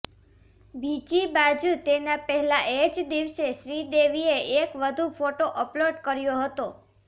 બીજી બાજુ તેના પહેલા એ જ દિવસે શ્રીદેવીએ એક વધુ ફોટો અપલોડ કર્યો હતો